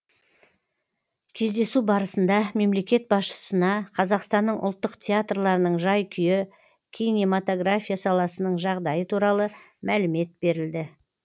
кездесу барысында мемлекет басшысына қазақстанның ұлттық театрларының жай күйі кинематография саласының жағдайы туралы мәлімет берілді